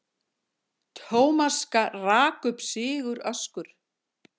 Thomas rak upp siguröskur.